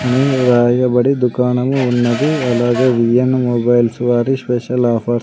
అన్ని రాయబడి దుకాణము ఉన్నది అలాగే వీ యన్ మొబైల్స్ వారి స్పెషల్ ఆఫర్స్ --